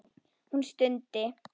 Hún stundi.